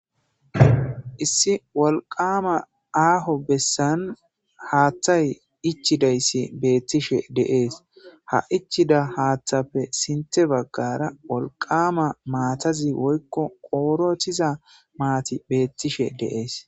issi wolqama aaho bessan haaththay ichidayssi beettishe deees ha ichida haaththapfe sinte baggara wolqama maatazi woykko qoorothiza maati beettishe deees